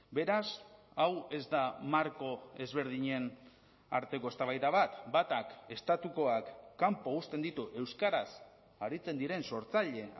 beraz hau ez da marko ezberdinen arteko eztabaida bat batak estatukoak kanpo uzten ditu euskaraz aritzen diren sortzaile